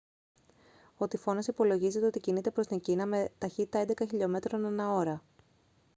ο τυφώνας υπολογίζεται ότι κινείται προς την κίνα με ταχύτητα έντεκα χιλιομέτρων ανά ώρα